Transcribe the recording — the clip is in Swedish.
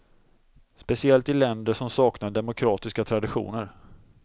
Speciellt i länder som saknar demokratiska traditioner.